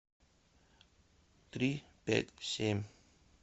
три пять семь